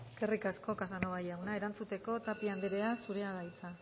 eskerrik asko casanova jauna erantzuteko tapia anderea zurea da hitza